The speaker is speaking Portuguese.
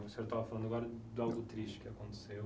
O senhor estava falando agora de algo triste que aconteceu.